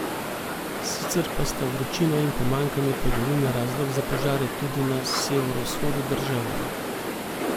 Sicer pa sta vročina in pomanjkanje padavin razlog za požare tudi na severovzhodu države.